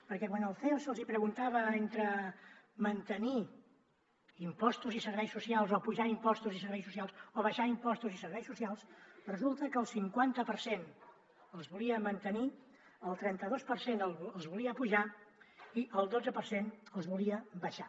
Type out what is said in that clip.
perquè quan al ceo se’ls hi preguntava entre mantenir impostos i serveis socials o apujar impostos i serveis socials o abaixar impostos i serveis socials resulta que el cinquanta per cent els volia mantenir el trenta dos per cent els volia apujar i el dotze per cent els volia abaixar